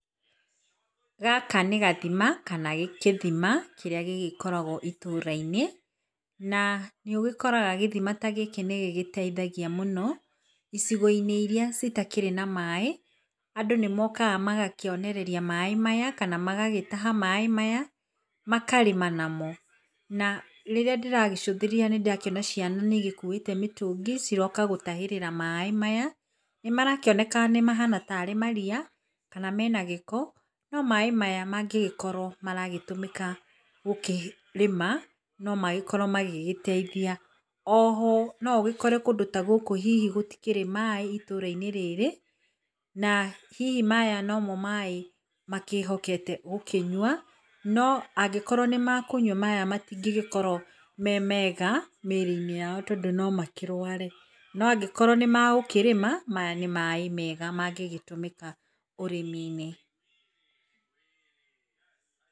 Gaka nĩ gathima kana gĩthima kĩrĩa gĩgĩkoragwo itũra-inĩ. Na nĩũgĩkoraga gĩthima ta gĩkĩ nĩgĩgĩteithagia mũno. Icigo-inĩ iria citakĩrĩ na maaĩ andũ nĩmagĩũkaga magakĩonereria maaĩ maya, kana magagĩtaha maaĩ maya makarĩma namo. Na rĩrĩa ndĩragĩcũthĩrĩria nĩndĩrakĩona ciana cikuĩte mĩtũngi cioka gũtahĩrĩra maaĩ maya. Nĩmarakĩoneka ta arĩ mariya kana mena gĩko, no maaĩ maya mangĩkorwo nĩmaragĩtũmĩka gũkĩrĩma no magĩkorwo magĩgĩteithia. O ho no ũgĩkore kũndũ ta gũkũ hihi gũtirĩ maaĩ itũra-inĩ rĩrĩ na hihi maya no mo maaĩ makĩhokete gũkĩnyua. No angĩkorwo nĩmakũnywa maya matingĩkorwo me mega mĩrĩ-inĩ yao, tondũ no makĩrware, no angĩkorwo nĩmagũkĩrĩma maya nĩ maaĩ mega mangĩgĩtũmĩka ũrĩmi-inĩ.